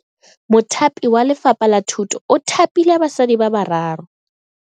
Mothapi wa Lefapha la Thuto o thapile basadi ba ba raro.